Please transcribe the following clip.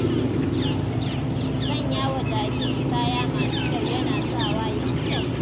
Sanya wa jariri kaya masu kyau yana sawa ya yi kyau